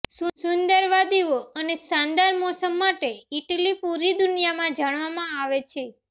સુંદર વાદીઓ અને શાનદાર મોસમ માટે ઇટલી પુરી દુનિયામાં જાણવામાં આવે છે